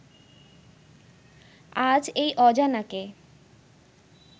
আজ এই অজানাকে